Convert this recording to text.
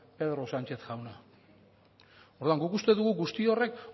pedro sánchez jauna orduan guk uste dugu guzti horrek